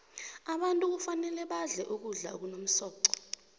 abantu kufanele badle ukudla okunomsoqo